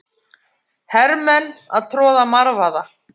Hermenn að troða marvaða.